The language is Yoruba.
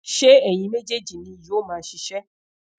ṣe eyin mejeeji ni yoo maa ṣiṣẹ